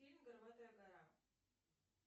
фильм горбатая гора